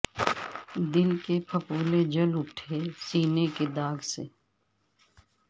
دل کے پھپھولے جل اٹھے سینے کے داغ سے